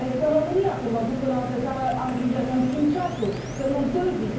Eu trăiesc în România, când mă duc în altă țară am grijă să îmi schimb ceasul, să nu întârzii.